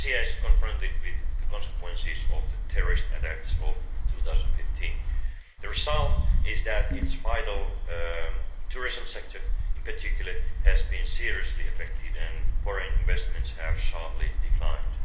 Tunisia is confronted with the consequences of the terrorist attacks of 2015. The result is that its vital tourism sector, in particular, has been seriously affected and foreign investments have sharply declined.